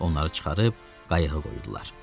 Onları çıxarıb qayıqa qoydular.